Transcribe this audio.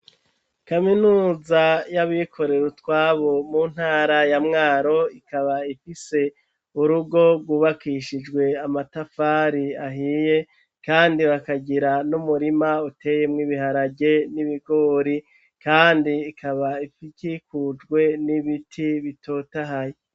Kaminuza y'abikorera utwabo mu ntara ya Mwaro, ikaba ifise urugo rwubakishijwe amatafari ahiye kandi bakagira n'umurima uteyemwo ibiharage n'ibigori, kandi ikaba ikikujwe n'ibiti bitotahaye.